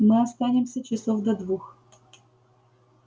мы останемся часов до двух